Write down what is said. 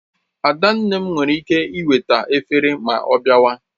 Adanne m were ike eweta efere ma ọ biawa